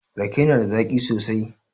Rake na da zaƙi sosai